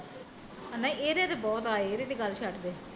ਨਾ ਇਹਦੇ ਤੇ ਬਹੁਤ ਆਏ ਇਹਦੇ ਤੇ ਗੱਲ ਛੱਡ ਦੇ